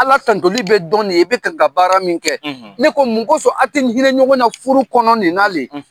Ala tantoli bɛ dɔn ne i bɛ kan ka baara min kɛ. Ne ko mun kɔsɔn a tɛ hinɛ ɲɔgɔn na furu nin na le?